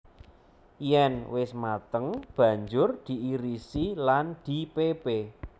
Yèn wis mateng banjur diirisi lan dipépé